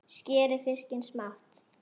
Skerið fiskinn smátt.